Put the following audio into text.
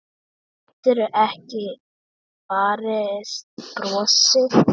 Getur ekki varist brosi.